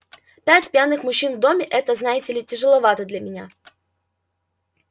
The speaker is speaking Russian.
пять пьяных мужчин в доме это знаете ли тяжеловато для меня